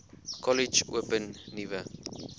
kollege open nuwe